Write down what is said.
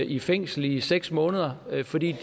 i fængsel i seks måneder fordi